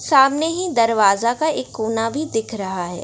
सामने ही दरवाजा का एक कोना भी दिख रहा है।